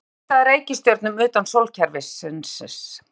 Hvernig er leitað að reikistjörnum utan sólkerfisins?